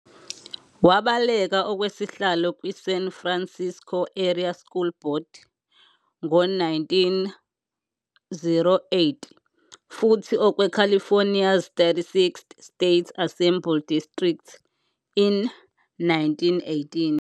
She ran for a seat on the San Francisco area school board in 1908, and for California's 36th State Assembly district in 1918.